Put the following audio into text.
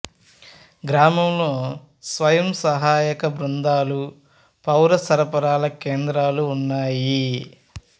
గ్రామంలో స్వయం సహాయక బృందాలు పౌర సరఫరాల కేంద్రాలు ఉన్నాయి